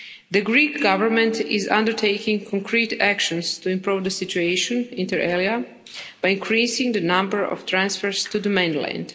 The Greek government is undertaking concrete actions to improve the situation, inter alia by increasing the number of transfers to the mainland.